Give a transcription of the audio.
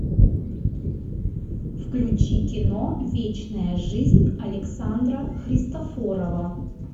включи кино вечная жизнь александра христофорова